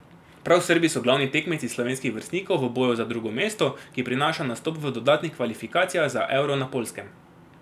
Prav Srbi so glavni tekmeci slovenskih vrstnikov v boju za drugo mesto, ki prinaša nastop v dodatnih kvalifikacijah za euro na Poljskem.